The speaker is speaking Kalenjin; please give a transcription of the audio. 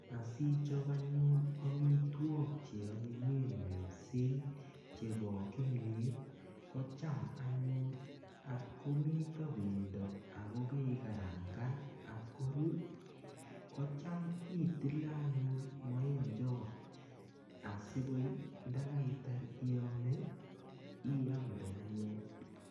Asichop anyun amitwok che anyinyen mising chebo kimiet ko cham anyun atkomito bendo ako kekarangan atkorur kocham itile anyun maemchot asikoi ndakaitar iyome iamde anyun.